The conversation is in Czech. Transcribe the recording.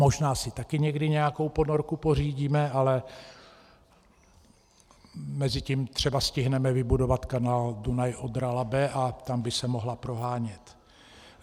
Možná si taky někdy nějakou ponorku pořídíme, ale mezitím třeba stihneme vybudovat kanál Dunaj-Odra-Labe a tam by se mohla prohánět.